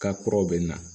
Ka kuraw bɛ na